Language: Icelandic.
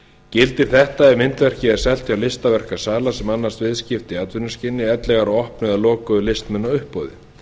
gildir þetta ef myndverkið selt hjá listaverkasala sem annast viðskipti í atvinnuskyni enda opnun eða lokuðu listmunauppboði